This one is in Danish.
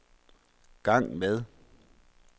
gang med